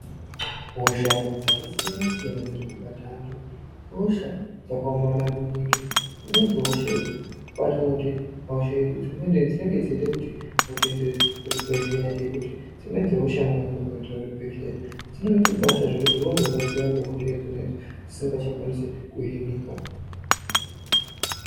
Hosha dzakasiyanasiyana dziri kubata anhu ihosha dzakaomarara maningi dzimweni dzehosha idzi kubaatona kuti hosha idzi dzimweni dzinenge dzeide kuti mutoenede kuzvibhehleya nekuti dzimweni dzehosha mukanonoka kuende kuzvibhehleya dzinoite kubata zvekuti munozorwadziwa ngehosha idzonaidzo dzisngachakwanisi kuhinika.